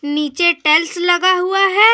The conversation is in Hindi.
नीचे टाइल्स लगा हुआ है।